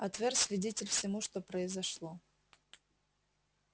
а твер свидетель всему что произошло